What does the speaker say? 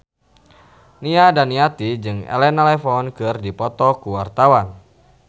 Nia Daniati jeung Elena Levon keur dipoto ku wartawan